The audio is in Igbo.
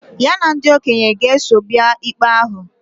Ya na ndị okenye ga-eso bịa ikpe ahụ